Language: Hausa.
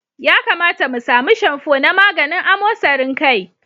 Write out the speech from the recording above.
Ya kamata mu sami shamfo na maganin amosarin kai.